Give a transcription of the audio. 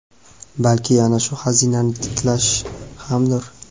balki ana shu xazinani tiklash hamdir.